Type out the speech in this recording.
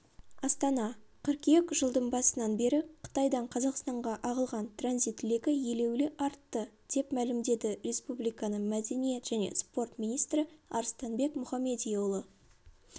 астана қыркүйек жылдың басынан бері қытайдан қазақстанға ағылған транзит легі елеулі артты деп мәлімдеді республиканың мәдениет және спорт министрі арыстанбек мұхамедиұлы